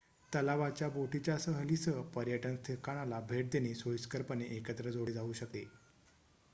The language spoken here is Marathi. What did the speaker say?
तलावाच्या बोटीच्या सहलीसह पर्यटन ठिकाणाला भेट देणे सोयीस्करपणे एकत्र जोडले जाऊ शकते